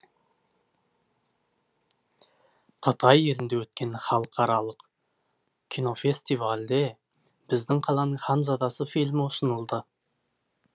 қытай елінде өткен халықаралық кинофестивальде біздің қаланың ханзадасы фильмі ұсынылды